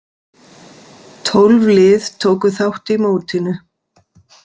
Tólf lið tóku þátt í mótinu.